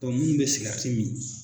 minnu bɛ sikɛriti min.